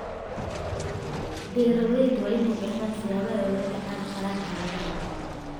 Beeralayda waa inay bartaan siyaabaha ay ula tacaali karaan xaaladaha xun.